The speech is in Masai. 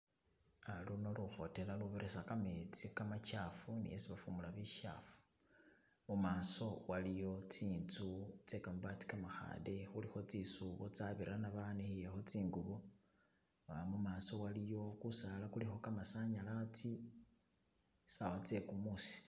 Ah luno lukhotela lubirisa kametsi kamachafu ne isikhufumula bichafu, mumaso waliyo tsinzu tse kamabati kamakhale khulikho tsisisubo banikhilekho tsingubo, bona mumaso waliyo kusala kulikho kamasanyalasi, sawa tse kumusi.